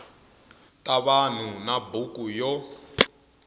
ta vanhu na buku yo